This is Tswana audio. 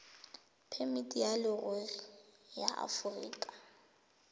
phemiti ya leruri ya aforika